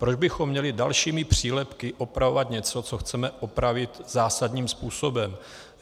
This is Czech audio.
Proč bychom měli dalšími přílepky upravovat něco, co chceme opravit zásadním způsobem?